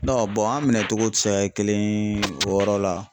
an minɛcogow tɛ se ka kɛ kelen ye o yɔrɔ la.